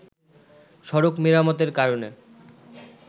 সড়ক মেরামতের কারণে